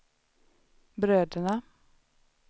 bröderna